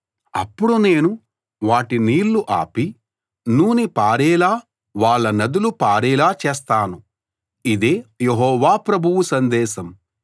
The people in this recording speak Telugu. అప్పుడు నేను వాటి నీళ్లు ఆపి నూనె పారేలా వాళ్ళ నదులు పారేలా చేస్తాను ఇదే యెహోవా ప్రభువు సందేశం